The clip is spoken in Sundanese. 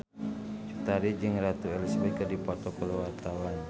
Cut Tari jeung Ratu Elizabeth keur dipoto ku wartawan